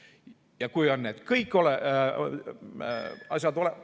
Ja kui kõik need asjad on olemas ...